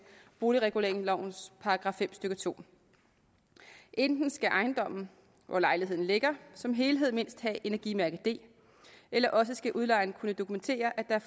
boligreguleringslovens § fem stykke 2 enten skal ejendommen hvori lejligheden ligger som helhed mindst have energimærke d eller også skal udlejeren kunne dokumentere at der